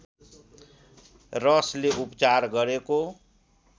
रसले उपचार गरेको